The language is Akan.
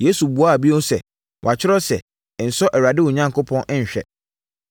Yesu buaa bio sɛ, “Wɔatwerɛ sɛ, ‘Nsɔ Awurade wo Onyankopɔn nhwɛ.’ ”